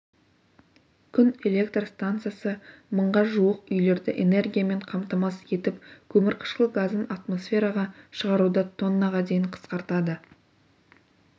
күн электр стансасы мыңға жуық үйлерді энергиямен қамтамасыз етіп көмірқышқыл газын атмосфераға шығаруды тоннаға дейін қысқартады